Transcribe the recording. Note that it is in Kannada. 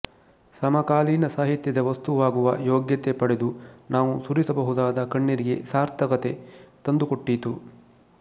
ಸಮಕಾಲೀನ ಸಾಹಿತ್ಯದ ವಸ್ತುವಾಗುವ ಯೋಗ್ಯತೆ ಪಡೆದು ನಾವು ಸುರಿಸಬಹುದಾದ ಕಣ್ಣೀರಿಗೆ ಸಾರ್ಥಕತೆ ತಂದುಕೊಟ್ಟೀತು